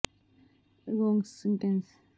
ਇੱਕ ਬਹੁਤ ਹੀ ਚੰਗਾ ਕਬਜ਼ ਨੂੰ ਰੋਕਣ ਲਈ ਤਰੀਕੇ ਇੱਕ ਪੇਠਾ ਹੈ